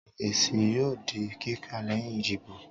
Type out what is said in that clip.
èsí yóò dí kika leyin ìdíbò